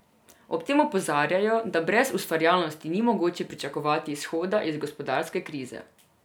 Ob tem opozarjajo, da brez ustvarjalnosti ni mogoče pričakovati izhoda iz gospodarske krize.